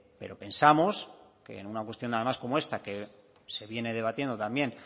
pero pensamos que en una cuestión además como esta que se viene debatiendo también